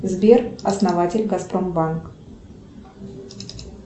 сбер основатель газпром банк